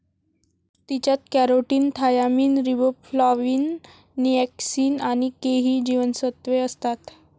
तिच्यात carotene, thiamine, riboflavin niacin आणि K ही जीवनसत्वे असतात.